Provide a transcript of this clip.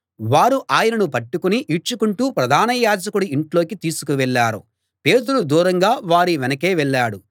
వారు ఆయనను పట్టుకుని ఈడ్చుకుంటూ ప్రధాన యాజకుడి ఇంట్లోకి తీసుకు వెళ్ళారు పేతురు దూరంగా వారి వెనకే వెళ్ళాడు